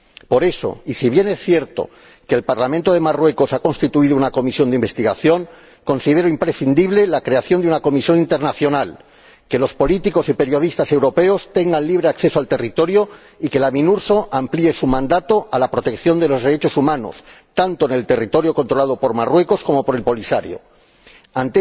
Por eso si bien es cierto que el Parlamento de Marruecos ha constituido una comisión de investigación considero imprescindible la creación de una comisión internacional, que los políticos y periodistas europeos tengan libre acceso al territorio y que la Minurso amplíe su mandato a la protección de los derechos humanos, tanto en el territorio controlado por Marruecos como en el controlado por el Polisario.